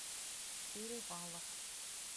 перевалов